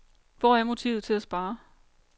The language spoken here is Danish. Hvor er motivet til at spare.